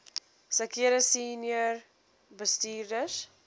sekere senior bestuurders